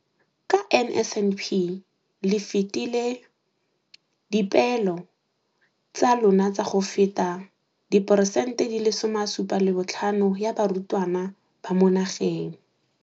Ka NSNP le fetile dipeelo tsa lona tsa go fepa diporesente 75 ya barutwana ba mo nageng.